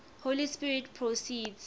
holy spirit proceeds